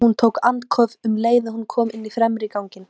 Hún tók andköf um leið og hún kom inn í fremri ganginn.